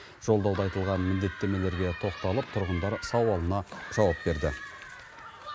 жолдауда айтылған міндеттемелерге тоқталып тұрғындар сауалына жауап берді